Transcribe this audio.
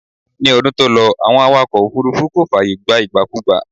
Ní ọdún tó lọ, Àwọn awakọ̀ òfúrúfú kò fààyè gba ìgbàkugbà